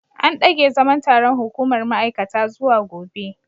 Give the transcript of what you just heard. An dage zaman taron hukumar ma’aikata zuwa gobe.